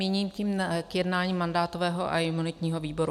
Míním tím k jednání mandátového a imunitního výboru.